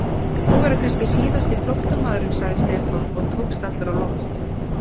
Þú verður kannski síðasti flóttamaðurinn sagði Stefán og tókst allur á loft.